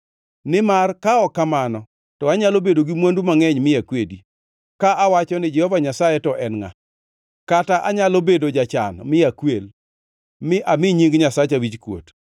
Nimar, ka ok kamano, to anyalo bedo gi mwandu mangʼeny mi akwedi ka awacho ni, ‘Jehova Nyasaye to en ngʼa?’ Kata anyalo bedo jachan mi akwel, mi ami nying Nyasacha wichkuot.